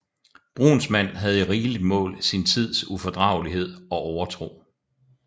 Brunsmand havde i rigeligt mål sin tids ufordragelighed og overtro